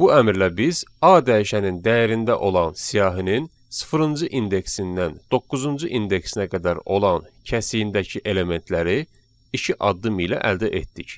Bu əmrlə biz A dəyişəninin dəyərində olan siyahının sıfırıncı indeksindən doqquzuncu indeksinə qədər olan kəsiyindəki elementləri iki addım ilə əldə etdik,